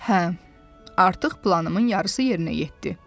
Hə, artıq planımın yarısı yerinə yetdi.